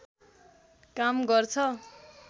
काम गर्छ